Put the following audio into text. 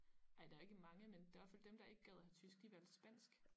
Ej der er ikke mange men der hvert fald dem der ikke gad at have tysk de valgte spansk